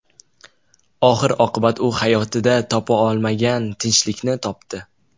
Oxir-oqibat u hayotida topa olmagan tinchlikni topdi.